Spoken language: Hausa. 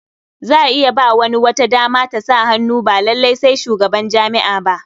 Za a iya ba wani wata dama ta sa hannu ba lalai sai shugaban jami'a ba.